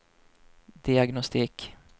diagnostik